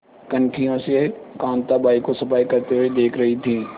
कनखियों से कांताबाई को सफाई करते हुए देख रही थी